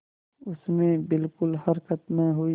उसमें बिलकुल हरकत न हुई